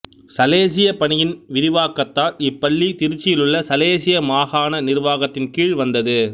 சலேசிய பணியின் விரிவாக்கதால் இப்பள்ளி திருச்சியிலுள்ள சலேசிய மாகாண நிர்வாகத்தின் கீழ் வந்தது